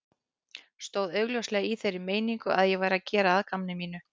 Stóð augljóslega í þeirri meiningu að ég væri að gera að gamni mínu.